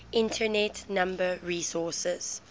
internet number resources